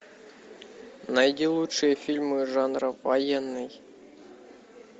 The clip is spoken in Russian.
найди лучшие фильмы жанра военный